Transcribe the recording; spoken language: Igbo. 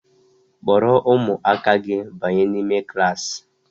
Kpọrọ ụmụaka gị banye n'ime klaasị!